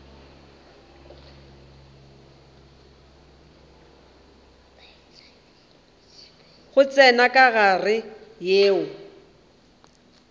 di tsenya ka gare yeo